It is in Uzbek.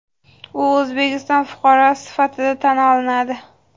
u O‘zbekiston fuqarosi sifatida tan olinadi.